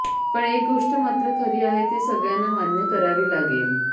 पण एक गोष्ट मात्र खरी आणि ती सगळ्यांना मान्य करावी लागले